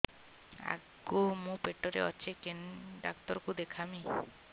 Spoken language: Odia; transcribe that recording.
ଆଗୋ ମୁଁ ପେଟରେ ଅଛେ କେନ୍ ଡାକ୍ତର କୁ ଦେଖାମି